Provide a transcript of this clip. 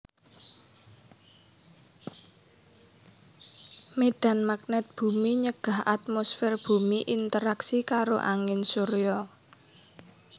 Médhan magnèt bumi nyegah atmosfèr bumi interaksi karo angin surya